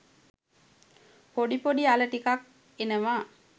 පොඩි පොඩි අල ටිකක් එනවා.